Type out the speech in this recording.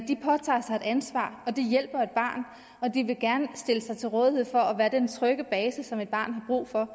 de påtager sig et ansvar de hjælper et barn og de vil gerne stille sig til rådighed for at være den trygge base som et barn har brug for